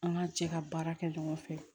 An k'an cɛ ka baara kɛ ɲɔgɔn fɛ